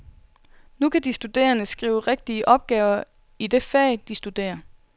Nu kan de studerende skrive rigtige opgaver i det fag, de studerer.